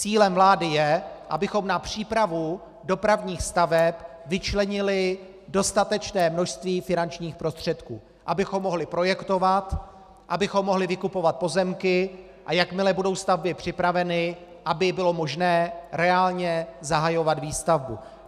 Cílem vlády je, abychom na přípravu dopravních staveb vyčlenili dostatečné množství finančních prostředků, abychom mohli projektovat, abychom mohli vykupovat pozemky, a jakmile budou stavby připraveny, aby bylo možné reálně zahajovat výstavbu.